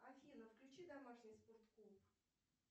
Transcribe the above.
афина включи домашний спорт клуб